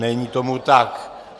Není tomu tak.